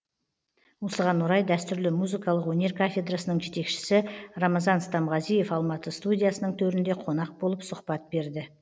осыған орай дәстүрлі музыкалық өнер кафедрасының жетекшесі рамазан стамғазиев алматы студиясының төрінде қонақ болып сұхбат берді